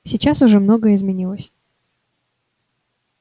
сейчас уже многое изменилось